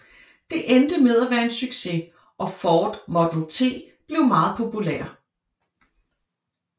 Det endte med at være en succes og Ford Model T blev meget populær